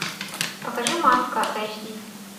покажи маска эйч ди